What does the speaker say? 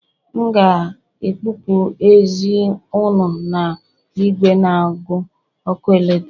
M ga-ekupụ ezi unu na igwe n'agu ọkụ eletrik